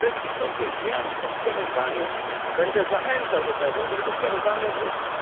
Bez istotnych zmian w tym sprawozdaniu będę zachęcał do tego, żeby to sprawozdanie odrzucić.